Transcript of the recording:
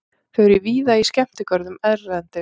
Þau eru víða í skemmtigörðum erlendis.